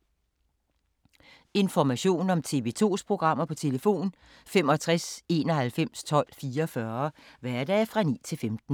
Information om TV 2's programmer: 65 91 12 44, hverdage 9-15.